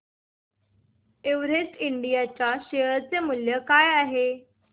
Everest Ind च्या share चे मूल्य काय आहे